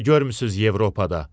Nə görürsüz Avropada?